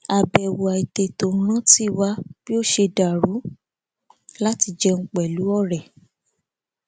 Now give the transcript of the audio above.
àbèwò àìtètò ń rántí wa bí ó ṣe dàrú láti jẹun pẹlú òré